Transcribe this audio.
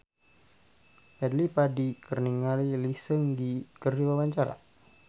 Fadly Padi olohok ningali Lee Seung Gi keur diwawancara